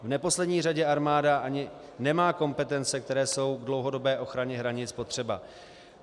V neposlední řadě armáda ani nemá kompetence, které jsou k dlouhodobé ochraně hranic potřeba.